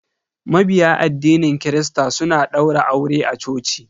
Mabiya addinin christa suna daura aure a coci.